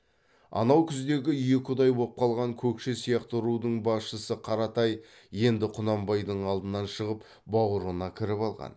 анау күздегі екі ұдай боп қалған көкше сияқты рудың басшысы қаратай енді құнанбайдың алдынан шығып баурына кіріп алған